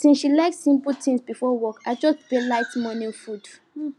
since she like simple thing before work i just prepare light morning food